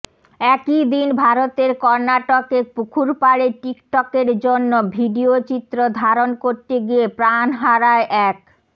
একইদিন ভারতের কর্নাটকে পুকুরপাড়ে টিকটকের জন্য ভিডিওচিত্র ধারণ করতে গিয়ে প্রাণ হারায় এক